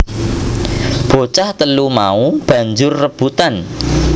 Bocah telu mau banjur rebutan